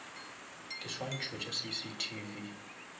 diswantšho tša cctv